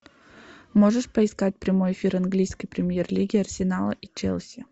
можешь поискать прямой эфир английской премьер лиги арсенала и челси